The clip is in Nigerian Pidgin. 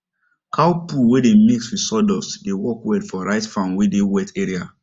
cow poo wey dem mix with sawdust dey work well for rice farm wey dey wet area